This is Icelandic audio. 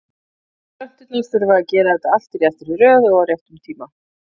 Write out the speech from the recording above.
Plönturnar þurfa að gera þetta allt í réttri röð og á réttum tíma.